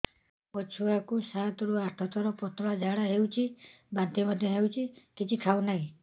ମୋ ଛୁଆ କୁ ସାତ ରୁ ଆଠ ଥର ପତଳା ଝାଡା ହେଉଛି ବାନ୍ତି ମଧ୍ୟ୍ୟ ହେଉଛି କିଛି ଖାଉ ନାହିଁ